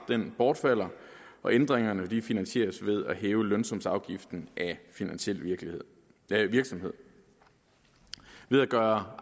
bortfalder og ændringerne finansieres ved at hæve lønsumsafgiften af finansiel virksomhed ved virksomhed ved at gøre